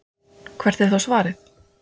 Hvert er þá svarið?